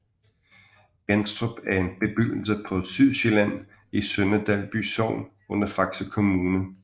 Jenstrup er en bebyggelse på Sydsjælland i Sønder Dalby Sogn under Faxe Kommune